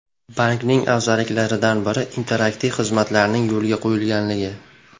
Bankning afzalliklaridan biri, interaktiv xizmatlarning yo‘lga qo‘yilganligi.